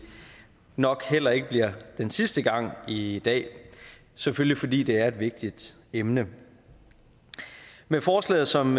nok heller ikke bliver den sidste gang i dag selvfølgelig fordi det er et vigtigt emne med forslaget som